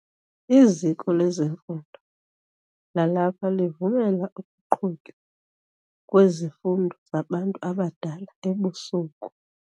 Iziko lemfundo lalapha livumela ukuqhutywa kwezifundo zabantu abadala ebusuku.